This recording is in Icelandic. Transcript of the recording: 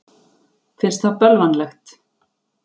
Finnst það bölvanlegt.